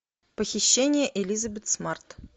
похищение элизабет смарт